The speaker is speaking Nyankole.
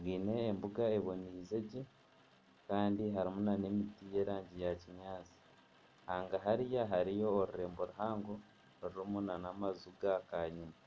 bwine embuga eboneize gye kandi harimu n'emiti y'erangi yakinyaatsi. Hanga hariya hariho orurembo ruhango rurimu n'amaju gakanyina.